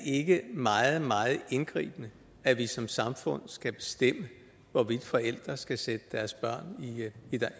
ikke meget meget indgribende at vi som samfund skal bestemme hvorvidt forældre skal sætte deres børn